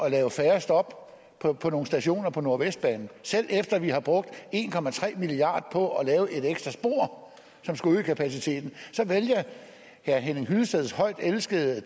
at lave færre stop på nogle stationer på nordvestbanen selv efter at vi har brugt en milliard kroner på at lave et ekstra spor som skulle øge kapaciteten så vælger herre henning hyllesteds højtelskede